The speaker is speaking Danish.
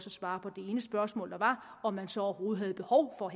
at svare på det ene spørgsmål der var om man så overhovedet havde behov for